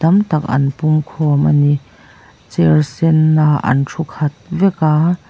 an pung khawm a ni chair sen ah an thu khat vek a--